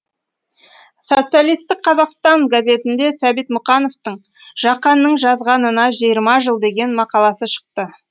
социалистік қазақстан газетінде сәбит мұқановтың жақанның жазғанына жиырма жыл деген мақаласы шықты